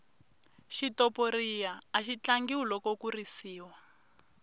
xitoporiya axi tlangiwa loko ku risiwa